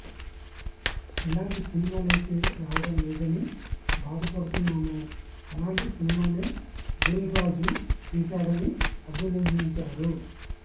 ఎలాంటి సినిమాలైతే రావడంలేదని బాధపడుతున్నామో అలాంటి సినిమానే దిల్రాజు తీశాడని అభినందించారు